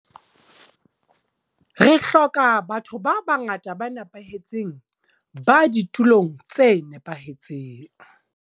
Re hloka ba tho ba bangata ba nepahetseng ba ditulong tse nepahetseng.